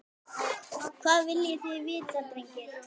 Hvað viljið þið vita drengir?